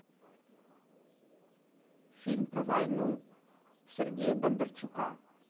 фильм про войну сергея бондарчука